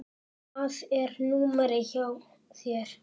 Hvað er númerið hjá þér?